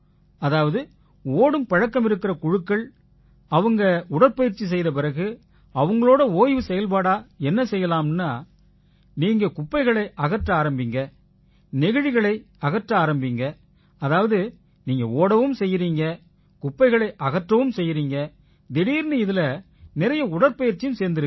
அதாவது ஓடும் பழக்கம் இருக்கற குழுக்கள் அவங்க உடற்பயிற்சி செய்த பிறகு அவங்களோட ஓய்வு செயல்பாடா என்ன சொன்னோம்னா நீங்க குப்பைகளை அகற்ற ஆரம்பிங்க நெகிழிகளை அகற்ற ஆரம்பிங்க அதாவது நீங்க ஓடவும் செய்யறீங்க குப்பையை அகற்றவும் செய்யறீங்க திடீர்னு இதில நிறைய உடற்பயிற்சியும் சேர்ந்திருது